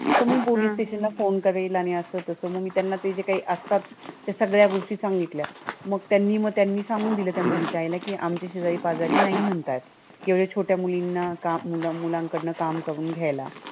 मग मी police station ला phone करेन असं आणि तसं. मग मी त्यांना ते जे काही असतात, त्या सगळ्या गोष्टी सांगितल्या. मग त्यांनी त्यांनी सांगून दिलं त्या मुलीच्या आईला की आमचे शेजारी पाजारी नाही म्हणतात. एवढ्या छोट्या मुलीला मुलांकडून काम करून घ्यायला.